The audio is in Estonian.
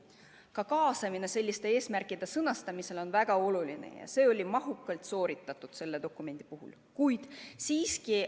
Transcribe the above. Ka kaasamine eesmärkide sõnastamisel on väga oluline ja see oli selle dokumendi puhul mahukalt sooritatud.